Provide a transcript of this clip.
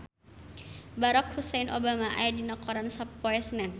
Barack Hussein Obama aya dina koran poe Senen